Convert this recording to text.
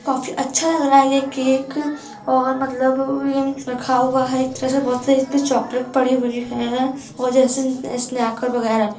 काफी अच्छा लग रहा है ये केक और मतलब ये रखा हुआ है। एक तरह से बहुत सारी अच्छी चॉकलेट पड़ी हुई है एक जैस जैसे स्नैकर वैगरा भी।